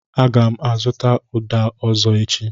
Aga m azụtakwụ uda ọzọ echi.